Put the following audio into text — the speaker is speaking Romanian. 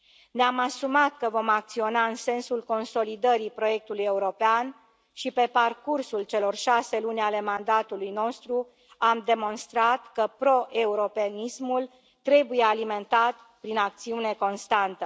Ne am asumat că vom acționa în sensul consolidării proiectului european și, pe parcursul celor șase luni ale mandatului nostru, am demonstrat că proeuropenismul trebuie alimentat prin acțiune constantă.